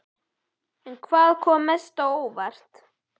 En hvað kom mest á óvart?